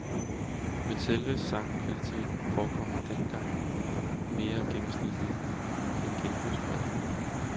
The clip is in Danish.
Men selve sangkvaliteten forekommer denne gang mere gennemsnitlig og genbrugspræget.